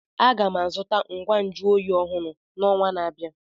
Aga m azụta ngwa nju oyi ọhụrụ n'ọnwa na-abịa.